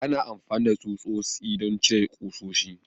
Ana amfani da tsutsotsi don cire ƙusoshi.